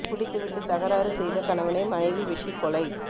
குடித்து விட்டு தகறாறு செய்த கணவனை மனைவி வெட்டி கொலை